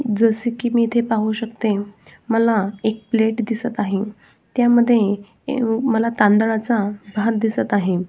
जस की मी इथे पाहू शकते मला एक प्लेट दिसत आहे त्या मध्ये तांदळाचा भात दिसत आहे.